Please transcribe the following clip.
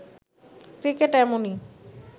cricket এমনই